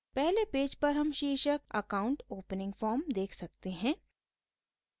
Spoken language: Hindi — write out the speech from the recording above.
पहले पेज पर हम शीर्षक account opening form देख सकते हैं